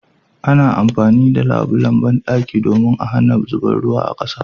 Ana amfani da labulan banɗaki domin a hana zuban ruwa a kasa